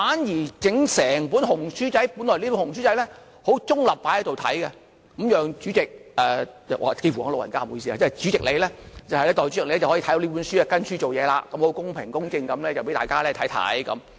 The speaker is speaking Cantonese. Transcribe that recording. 然而，整本"紅書仔"——本來這本"紅書仔"是很中立放在這裏，讓代理主席，幾乎說了你老人家，不好意思，主席你，代理主席你可以翻閱這本書，按着這本書去辦事，公平公正地讓大家看到。